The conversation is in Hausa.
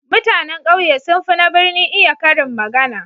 Mutanan kauye sun fi na birni iya karin magana.